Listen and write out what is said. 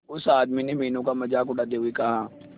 उस आदमी ने मीनू का मजाक उड़ाते हुए कहा